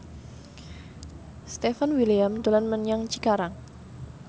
Stefan William dolan menyang Cikarang